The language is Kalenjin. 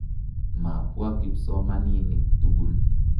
Mapwa kimsomaninik tukul.